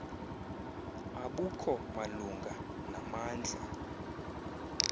abukho malunga namandla